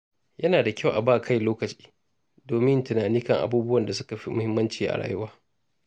Yana da kyau a ba kai lokaci domin yin tunani kan abubuwan da suka fi muhimmanci a rayuwa.